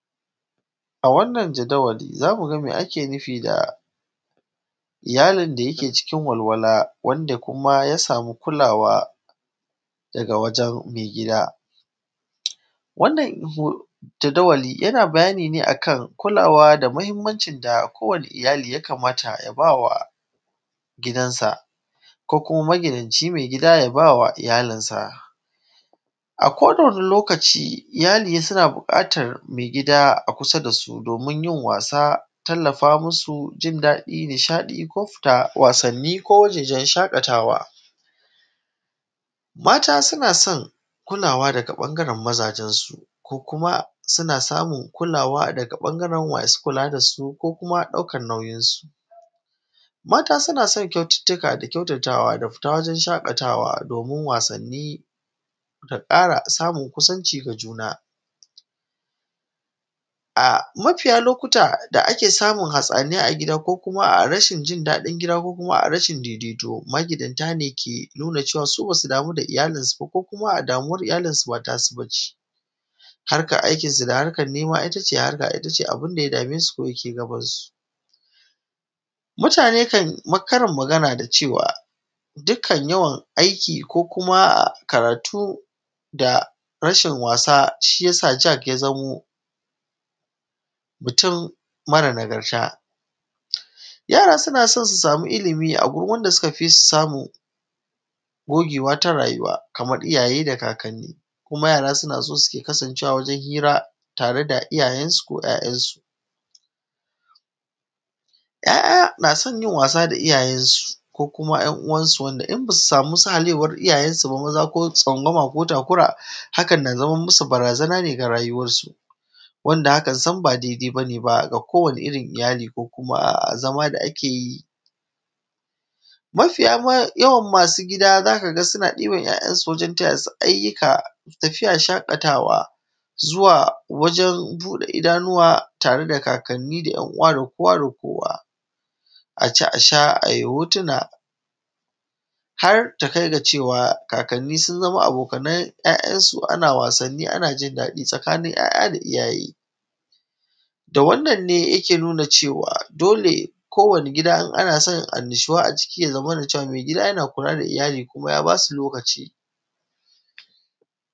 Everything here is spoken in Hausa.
a wannan jadawali zamu ga mai ake nufi da yaron da yake cikin walwala wanda kuma ya samu kulawa daga wajen maigida wannan jadawali yana bayani ne akan kulawa da muhimmancin da kowani iyali ya kamata ya bawa gidan sa ko kuma magidanci mai gida ya bawa iyalin sa a ko da wani lokaci iyali suna buƙatar maigida a kusa dasu domin yin wasa tallafa musu jin daɗi nishaɗi ko fita wasanni ko wajejen shaƙatawa mata suna son kulawa daga ɓangaren mazajen su ko kuma suna samun kulawa daga ɓangaren masu kula dasu ko kuma ɗaukan nauyin su mata suna son kyaututtuka da kyautatawa da fita wajen shaƙatawa domin wasanni da ƙara samun kusanci da juna a mafiya lokuta da ake samun hatsaniya a gida ko kuma rashin jin daɗin gida ko kuma a’a rashin daidaito magidanta ne ke nuna su basu damu da iyalin suba ko kuma damuwar iyalin su ba tasu bace harkar aikin su da harkar nema itace harkar abunda ya dame su kon yake gaban su mutane kan yi karin magana da cewa dukkan yawan aiki ko kuma karatu da rashin wasa shiyasa jack ya zamo mutum mara nagarta yara suna son su sami ilmi a gurin wanda suka fi su samun gogewa ta rayuwa kamar iyaye da kakanni kuma yara suna son suke kasancewa wajen hira tare da iyayen su ko ‘ya’yan su ‘ya’ya na son yin wasa da iyayen su ko kuma ‘yan uwansu wanda in basu samu sahalewar iyayen su ba maza ko tsangwama ko takura hakan na zaman musu barazana ne ga rayuwar su wanda hakan sam ba daidai bane baga kowanni irin iyali ko kuma zama da ake yi mafiya yawan masu gida zaka ga suna ɗiban ‘ya’yansu wajen taya su ayyuka tafiya shaƙatawa zuwa wajen buɗe idanuwa tare da kakanni da ‘yan uwa da kowa da kowa aci a sha ayi hotuna har ta kai ga cewa kakanni sun zama abokan ‘ya’yan su ana wasanni ana jin daɗi tsakanin ‘ya’ya da iyaye da wannan ne yake nuna cewa dole kowanni gida in ana son annashuwa a ciki ya zamana cewa maigida yana kula da iyali kuma ya basu lokaci